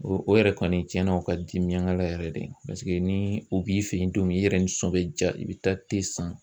O yɛrɛ kɔni tiɲɛna o ka di miyangala yɛrɛ de paseke ni u b'i fɛ ye don min i yɛrɛ nisɔn bɛ jaa i bɛ taa san.